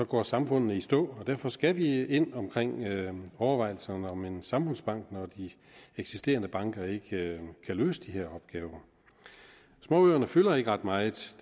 går samfundene i stå derfor skal vi ind i overvejelser om en samfundsbank når de eksisterende banker ikke kan løse de her opgaver småøerne fylder ikke ret meget